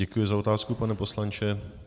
Děkuji za otázku, pane poslanče.